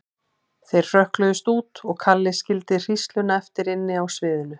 Þau hrökkluðust út og Kalli skildi hrísluna eftir inni á sviðinu.